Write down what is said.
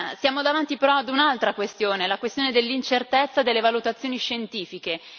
Siamo davanti però ad un'altra questione, la questione dell'incertezza delle valutazioni scientifiche.